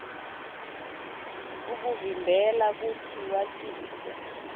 kukuvimbela kutsi watise